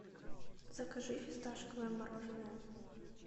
закажи фисташковое мороженое